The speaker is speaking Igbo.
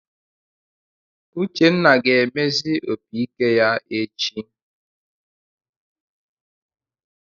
Uchenna ga-emezi opiike ya echi.